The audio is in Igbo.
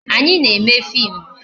Anyị na-eme fim